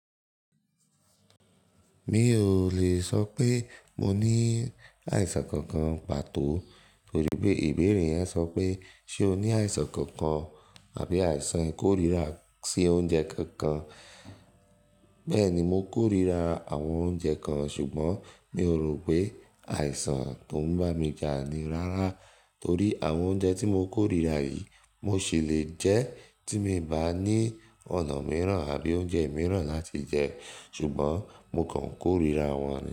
Mi ò lè sọ pé mo ní àìsàn kankan pàtó torí pé ìbéèrè yẹn sọ pé ṣe o ní àìsàn kankan àbí àìsàn ìkórìíra sí oúnjẹ kankan. Bẹ́ẹ̀ni mo korira àwọn oúnjẹ kan ṣùgbọ́n mi ò rò pé àìsàn tó ń bá mi jà ni rárá torí àwọn oúnjẹ tí mo korira yìí mo ṣì lè jẹ tí mi bá ní ọ̀nà mìíràn àbí oúnjẹ mìíràn láti jẹ ṣùgbọ́n mo kàn korira wọn.